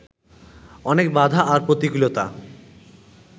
অনেক বাধা আর প্রতিকূলতা